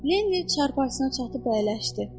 Lenni çarpayısına çatıb əyləşdi.